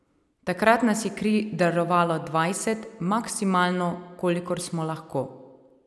Takrat nas je kri darovalo dvajset, maksimalno, kolikor smo lahko.